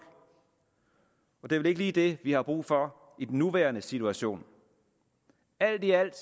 det er vel ikke lige det vi har brug for i den nuværende situation alt i alt